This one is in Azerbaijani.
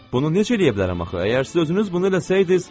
Bunu necə eləyə bilərəm axı, əgər siz özünüz bunu eləsəydiniz?